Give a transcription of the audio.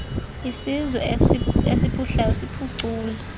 isizwe esiphuhlayo siphucule